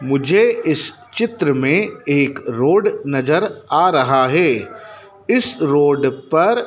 मुझे इस चित्र में एक रोड नजर आ रहा है इस रोड पर--